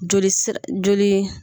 Joli sira joli